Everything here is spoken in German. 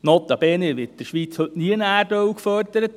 Es wird in der Schweiz notabene nirgends Erdöl gefördert.